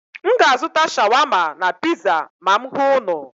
M ga-azụta shawama na piza ma m hụ unu.